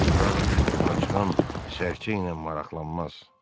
Qaraquş ovuna çıxan Sərçə ilə maraqlanmaz.